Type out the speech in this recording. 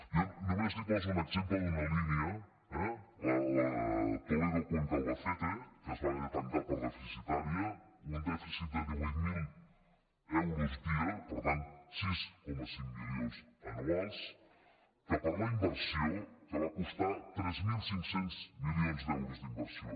jo només li poso un exemple d’una línia la de toledo cuenca albacete que es va haver de tancar per deficitària un dèficit de divuit mil euros dia per tant sis coma cinc milions anuals que per la inversió que va costar tres mil cinc cents milions d’euros d’inversió